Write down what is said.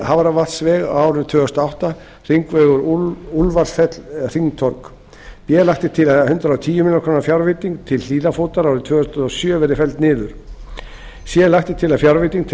til hafravatnsvegar á árinu tvö þúsund og átta b lagt er til að hundrað og tíu milljónir króna fjárveiting til hlíðarfótar árið tvö þúsund og sjö verði felld niður c lagt er til að fjárveiting til